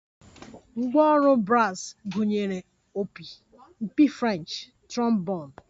Ngwá ọrụ bras gụnyere opi, mpi French, trombon